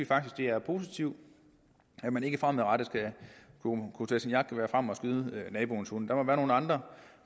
faktisk det er positivt at man ikke fremadrettet skal kunne tage sit jagtgevær frem og skyde naboens hund der må være nogle andre